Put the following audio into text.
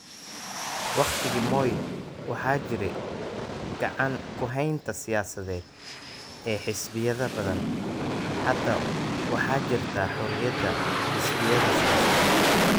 Waqtigii Moi, waxaa jiray gacan ku haynta siyaasadeed ee xisbiyada badan. Hadda waxaa jirta xorriyadda xisbiyada siyaasadda.